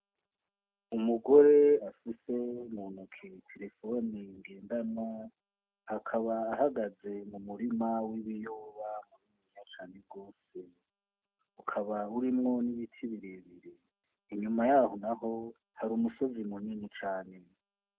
Umugore afise mu ntoke terefone ngendanwa akaba ahagaze mu murima w' ibiyoba mwiza cane gose ukaba urimwo n' ibiti bire bire inyuma yaho naho hari umusozi munini cane.